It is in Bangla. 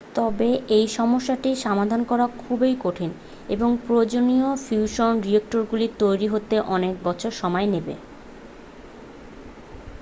তবে এই সমস্যাটি সমাধান করা খুবই কঠিন এবং প্রয়োজনীয় ফিউশন রিঅ্যাক্টরগুলি তৈরি হতে অনেক বছর সময় নেবে